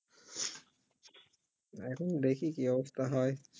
এখন দেখি কি অবস্থা হই